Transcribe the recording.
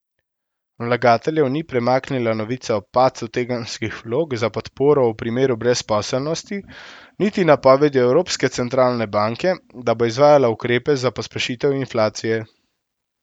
Vlagateljev ni premaknila novica o padcu tedenskih vlog za podporo v primeru brezposelnosti, niti napovedi Evropske centralne banke, da bo izvajala ukrepe za pospešitev inflacije.